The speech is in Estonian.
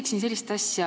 Küsin sellist asja.